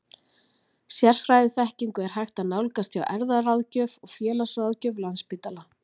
Sérfræðiþekkingu er hægt að nálgast hjá erfðaráðgjöf og félagsráðgjöf Landspítala.